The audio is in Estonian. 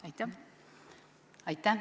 Aitäh!